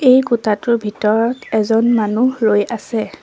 এই কোঠাটোৰ ভিতৰত এজন মানুহ ৰৈ আছে।